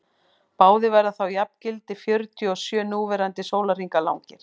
báðir verða þá jafngildi fjörutíu og sjö núverandi sólarhringa langir